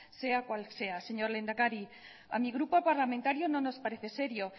sea cual sea señor lehendakari a mi grupo parlamentario no nos parece serio